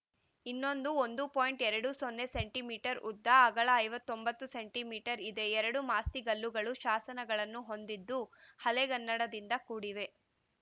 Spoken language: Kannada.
ಇನ್ನೊಂದು ಒಂದು ಪಾಯಿಂಟ್ ಎರಡು ಸೊನ್ನೆ ಸೆಂಟಿ ಮೀಟರ್ ಉದ್ದ ಅಗಲ ಐವತ್ತೊಂಬತ್ತು ಇದೆ ಎರಡು ಮಾಸ್ತಿಗಲ್ಲುಗಳು ಶಾಸನಗಳನ್ನು ಹೊಂದಿದ್ದು ಹಳೆಗನ್ನಡದಿಂದ ಕೂಡಿವೆ